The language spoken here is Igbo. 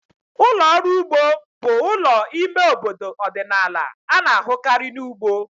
Ụlọ ọrụ ugbo bụ ụlọ ime obodo ọdịnala a na-ahụkarị na ugbo.